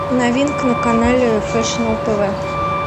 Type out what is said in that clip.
новинка на канале фэшн тв